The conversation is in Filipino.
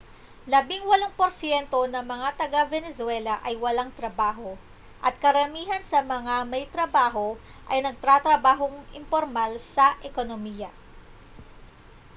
labingwalong porsyento ng mga taga-venezuela ay walang trabaho at karamihan sa mga may trabaho ay nagtatrabaho sa impormal na ekonomiya